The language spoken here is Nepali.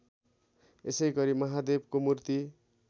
यसैगरी महादेवको मूर्ति